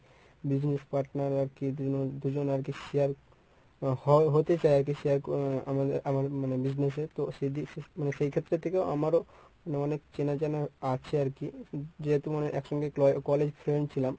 business partner আরকি দুজন আরকি share. হ~ হতে চায় আরকি share করে আমা~ আমার মানে business এ তো মানে সেইক্ষেত্রে থেকেও আমারও মানে অনেক চেনা জানা আছে আরকি। যে তোমার একসঙ্গে colle~ college friend ছিলাম।